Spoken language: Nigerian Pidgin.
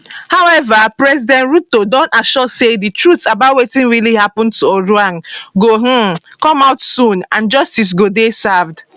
however president ruto don assure say di truth about wetin really happun to ojwang go um come out soon and justice go dey served